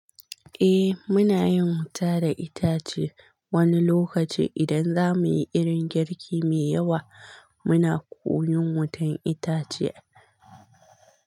Eh muna yin wuta da itace wani lokaci idan zamuyi irin girki me yawa. Muna koyon wutan itace.